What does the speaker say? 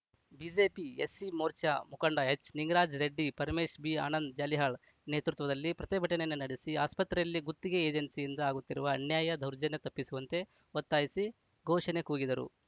BJP SC Morcha ಮುಖಂಡ ಎಚ್‌ನಿಂಗರಾಜ ರೆಡ್ಡಿ ಪರಮೇಶ ಬಿಆನಂದ ಜಾಲಿಹಾಳ್‌ ನೇತೃತ್ವದಲ್ಲಿ ಪ್ರತಿಭಟನೆ ನಡೆಸಿ ಆಸ್ಪತ್ರೆಯಲ್ಲಿ ಗುತ್ತಿಗೆ ಏಜೆನ್ಸಿಯಿಂದ ಆಗುತ್ತಿರುವ ಅನ್ಯಾಯ ದೌರ್ಜನ್ಯ ತಪ್ಪಿಸುವಂತೆ ಒತ್ತಾಯಿಸಿ ಘೋಷಣೆ ಕೂಗಿದರು